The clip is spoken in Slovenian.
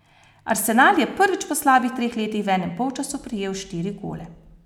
Arsenal je prvič po slabih treh letih v enem polčasu prejel štiri gole.